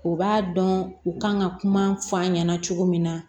U b'a dɔn u kan ka kuma fɔ an ɲɛna cogo min na